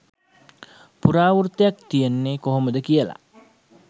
පුරාවෘත්තයක් තියෙන්නේ කොහොමද කියලා.